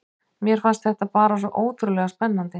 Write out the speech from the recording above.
Mér fannst þetta bara svo ótrúlega spennandi.